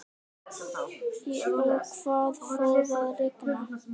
Og það fór að rigna.